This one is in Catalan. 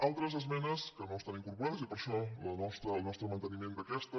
altres esmenes que no estan incorporades i per això el nostre manteniment d’aquestes